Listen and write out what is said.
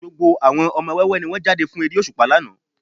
Gbogbo àwọn ọmọ wẹ́wẹ́ ni wọ́n jáde fún eré òṣùpá lánàá